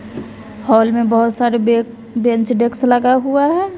Hall में बहोत सारे बे बेंच डेक्स लगा हुआ है।